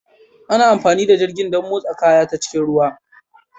Ana amfani da jirgin don motsa kaya ta cikin ruwa